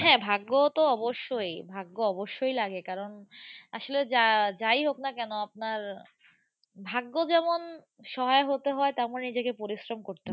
হ্যাঁ। ভাগ্যতো অবশই। ভাগ্য অবশই লাগে। কারণ, আসলে যা যাই হোক না কেন আপনার ভাগ্য যেমন সহায় হতে হয়, তেমন নিজেকে পরিশ্রম করতে হয়।